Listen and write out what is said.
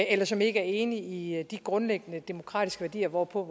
eller som ikke er enige i de grundlæggende demokratiske værdier hvorpå